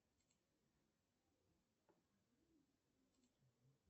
афина выполнить перевод артем сергеевич